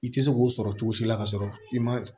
I tɛ se k'o sɔrɔ cogo si la ka sɔrɔ i ma